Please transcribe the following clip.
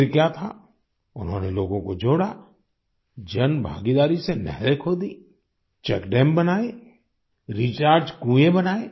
फिर क्या था उन्होंने लोगों को जोड़ा जनभागीदारी से नहरें खोदी चेकडैम बनाए रीचार्ज कुएँ बनाएँ